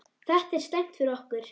Þetta er slæmt fyrir okkur.